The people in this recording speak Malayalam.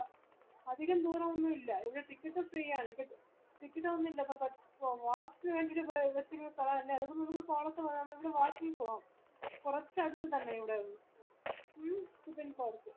അധികം ദൂരോന്നുമില്ല ഇതിന് ticket ഉം free ആണ് ഇപ്പൊ ticket ഒന്നുല്ല കുറച് അടുത്ത് തന്നെ ഇവിടെ ന്ന് മ്മ്